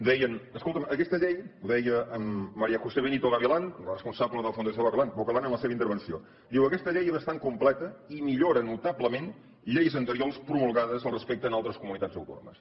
deien escolta’m aquesta llei ho deia maría josé benito gavilán la responsable de la fundació bocalan en la seva intervenció és bastant completa i millora notablement lleis anteriors promulgades al respecte en altres comunitats autònomes